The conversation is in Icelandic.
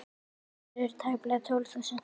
Íbúar eru tæplega tólf þúsund.